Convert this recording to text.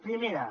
primera